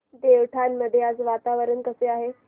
देवठाण मध्ये आज वातावरण कसे आहे